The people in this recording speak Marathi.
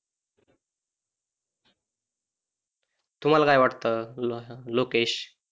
तुम्हाला काय वाटत? लो लोकेश.